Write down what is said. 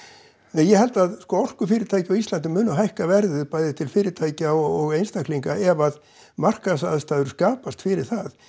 nei ég held að orkufyrirtæki á Íslandi muni hækka verðið bæði til fyrirtækja og einstaklinga ef að markaðsaðstæður skapast fyrir það